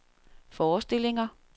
forestillinger